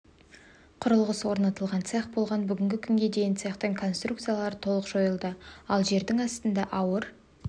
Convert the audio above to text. құрылғысы орнатылған цех болған бүгінгі күнге дейін цехтың конструкциялары толық жойылды ал жердің астында ауыр